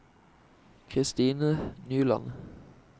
Christine Nyland